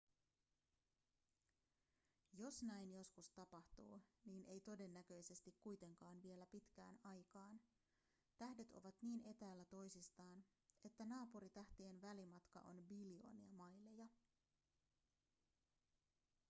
jos näin joskus tapahtuu niin ei todennäköisesti kuitenkaan vielä pitkään aikaan tähdet ovat niin etäällä toisistaan että naapuritähtien välimatka on biljoonia maileja